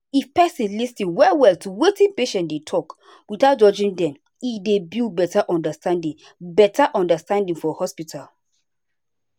if person lis ten well well to wetin patient dey talk without judging dem e dey build better understanding better understanding for hospital.